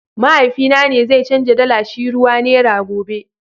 mahaifi na zai chanza dala shi ruwa nera gobe.